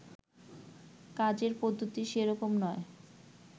কাজের পদ্ধতি সেরকম নয়